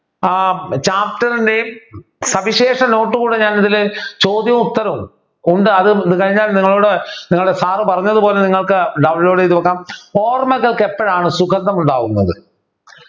ആഹ് Chapter ൻ്റെയും സവിശേഷ Note കൂടെ ഞാൻ ഇതിൽ ചോദ്യവും ഉത്തരവും ഉണ്ട് അത് കഴിഞ്ഞാൽ നിങ്ങളോട് നിങ്ങളുടെ Sir പറഞ്ഞതുപോലെ നിങ്ങൾക്ക് Download ചെയ്തു വയ്ക്കാം ഓർമ്മകൾക്ക് എപ്പോഴാണ് സുഗന്ധം ഉണ്ടാകുന്നത്